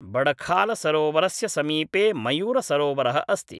बडखालसरोवरस्य समीपे मयूरसरोवरः अस्ति ।